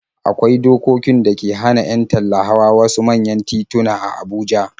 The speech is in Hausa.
Akwai dokokin da ke hana 'yan talla hawa wasu manyan tituna a Abuja.